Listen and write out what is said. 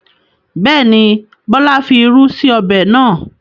Bẹ́ẹ̀ni, Bọlá fi irú sí ọbẹ̀ náà.